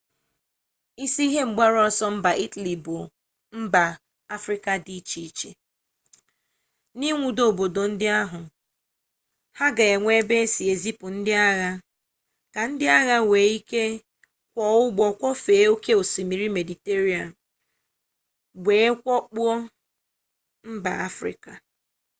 isi ihe mgbaru ọsọ mba itali bụ mba afrịka dị iche iche ịnwudo obodo ndị ahụ ha ga enwe ebe esi ezipu ndị agha ka ndị agha nwee ike kwọọ ụgbọ kwọfee oke osimiri mediterenia wee wakpo mba afrịka